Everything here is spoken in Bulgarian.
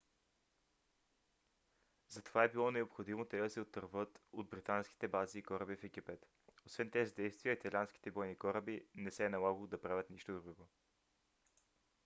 затова е било необходимо те да се отърват от британските бази и кораби в египет. освен тези действия италианските бойни кораби не се е налагало да правят нищо друго